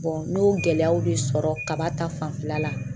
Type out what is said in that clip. n y'o gɛlɛyaw de sɔrɔ kaba ta fanfɛla la.